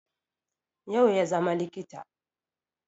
yau ya zama likita